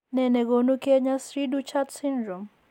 Ne nekonu konyo cri du chat syndrome?